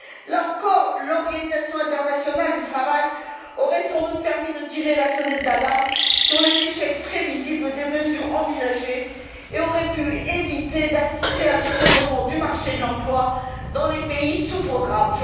Là encore, l'Organisation internationale du travail aurait sans doute permis de tirer la sonnette d'alarme sur les échecs prévisibles des mesures envisagées et aurait pu éviter un effondrement du marché de l'emploi dans les pays sous programme.